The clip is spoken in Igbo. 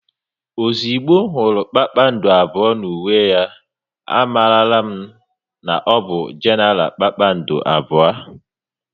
Ozigbo m hụrụ kpakpando abụọ n'uwe ya, a marala m n'ọbụ Genara kpakpando abụọ